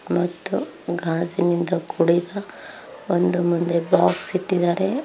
ಮತ್ತು ಗಾಜಿನಿಂದ ಕುಡಿದ ಒಂದು ಮುಂದೆ ಬಾಕ್ಸ್ ಇಟ್ಟಿದಾರೆ.